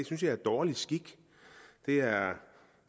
synes jeg er dårlig skik det er